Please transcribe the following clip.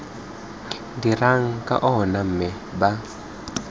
dirang ka ona mme ba